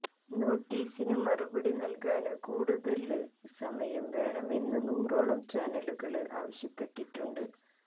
നോട്ടീസിന് മറുപടി നല്കാന് കൂടുതല് സമയം വേണമെന്ന് നൂറോളം ചാനലുകള് ആവശ്യപ്പെട്ടിട്ടുണ്ട്